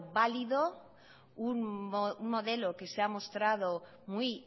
válido un modelo que se ha mostrado muy